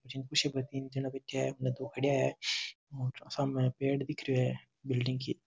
इन कुर्सियों पर तीन जना बैठया है दो खड़या है और सामें पेड़ दिख रियो है बिल्डिंग की --